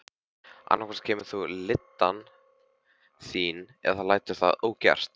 Annað hvort kemur þú lyddan þín eða lætur það ógert.